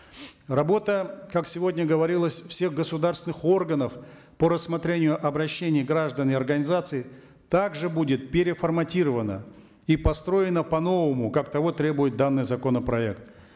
работа как сегодня говорилось всех государственных органов по рассмотрению обращений граждан и организаций также будет переформатирована и построена по новому как того требует данный законопроект